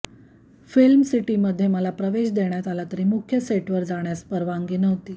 फिल्मसिटीमध्ये मला प्रवेश देण्यात आला तरी मुख्य सेटवर जाण्यास परवानगी नव्हती